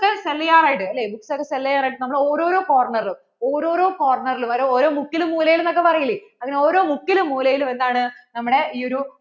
books ഒക്കെ sell ചെയ്യാനായിട്ട് അല്ലെ bookssell ചെയ്യാനായിട്ട് നമ്മൾ ഓരോരോ ഓരോരോ corner റും ഓരോരോ ഓരോരോ corner ലും വരെ ഓരോരോ മുക്കിലും മൂലയിലും എന്ന് ഒക്കെ പറയില്ലേ അങ്ങനെ ഓരോ മുക്കിലും മൂലയിലും എന്താണ് നമ്മടെ ഇ ഒരു